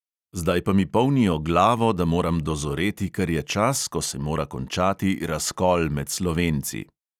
Zdaj pa mi polnijo glavo, da moram dozoreti, ker je čas, ko se mora končati razkol med slovenci.